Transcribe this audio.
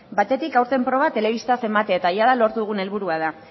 batetik aurten proba telebistaz ematea eta jada lortu dugun helburua da